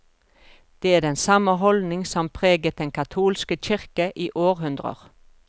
Det er den samme holdning som preget den katolske kirke i århundrer.